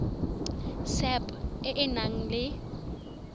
sap e e nang le